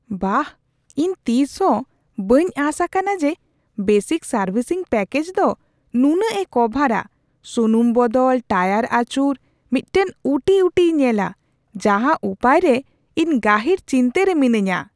ᱵᱟᱦ! ᱤᱧ ᱛᱤᱥᱦᱚᱸ ᱵᱟᱹᱧ ᱟᱸᱥ ᱟᱠᱟᱱᱟ ᱡᱮ ᱵᱮᱥᱤᱠ ᱥᱟᱨᱵᱷᱤᱥᱤᱝ ᱯᱮᱠᱮᱡᱽ ᱫᱚ ᱱᱩᱱᱟᱹᱜᱼᱮ ᱠᱚᱵᱷᱟᱨᱟᱼᱥᱩᱱᱩᱢ ᱵᱚᱫᱚᱞ, ᱴᱟᱭᱟᱨ ᱟᱹᱪᱩᱨ, ᱢᱤᱫᱴᱟᱝ ᱩᱴᱤ ᱩᱴᱤᱭ ᱧᱮᱞᱟ ᱾ ᱡᱟᱦᱟ ᱩᱯᱟᱹᱭ ᱨᱮ ᱤᱧ ᱜᱟᱹᱦᱤᱨ ᱪᱤᱱᱛᱟᱹ ᱨᱮ ᱢᱤᱱᱟᱹᱧᱟ ᱾